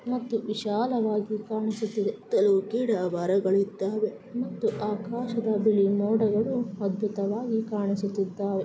ಮತ್ತು ವಿಶಾಲವಾಗಿ ಕಾನುಸುತ್ತಿದೆ ಕೆಲವು ಗಿಡ ಮರಗಳು ಇದ್ದವೆ ಮತ್ತು ಆಕಾಶದ ಬಿಳಿ ಮೋಡಗಳು ಅದ್ಬುತವಾಗಿ ಕಾಣಿಸುತ್ತಿದ್ದವೆ.